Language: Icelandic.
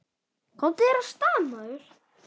Komdu þér af stað, maður!